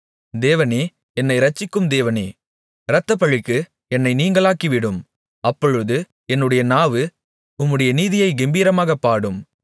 தேவனே என்னை இரட்சிக்கும் தேவனே இரத்தப்பழிகளுக்கு என்னை நீங்கலாக்கிவிடும் அப்பொழுது என்னுடைய நாவு உம்முடைய நீதியைக் கெம்பீரமாகப் பாடும்